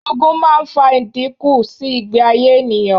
Ogun máa ń fa ìdínkù sí ìgbé ayé ènìyàn.